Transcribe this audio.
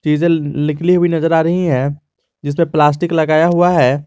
Diesel निकली हुई नजर आ रही है जिसपे प्लास्टिक लगाया हुआ है।